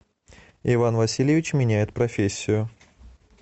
иван васильевич меняет профессию